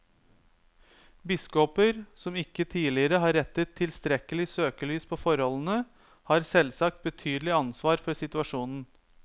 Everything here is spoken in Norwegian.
Biskoper som ikke tidligere har rettet tilstrekkelig søkelys på forholdene, har selvsagt betydelig ansvar for situasjonen.